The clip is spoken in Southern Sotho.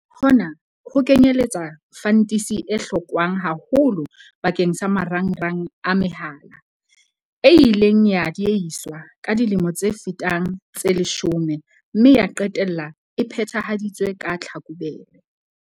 Hona ho kenyeletsa fantisi e hlokwang haholo bakeng sa marangrang a mehala, e ileng ya diehiswa ka dilemo tse fetang tse leshome mme ya qetella e phethahaditswe ka Tlhakubele.